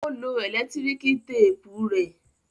Ó lo ẹ̀lẹ́tíríkì téépù rẹ?